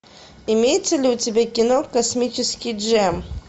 имеется ли у тебя кино космический джем